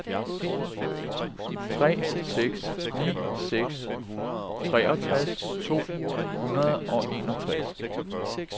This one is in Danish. tre seks ni seks treogtres to hundrede og enogtres